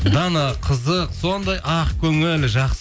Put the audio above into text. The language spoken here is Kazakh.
дана қызық сондай ақкөңіл